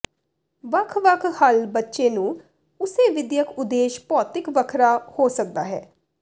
ਵੱਖ ਵੱਖ ਹੱਲ ਬੱਚੇ ਨੂੰ ਉਸੇ ਵਿਦਿਅਕ ਉਦੇਸ਼ ਭੌਤਿਕ ਵੱਖਰਾ ਹੋ ਸਕਦਾ ਹੈ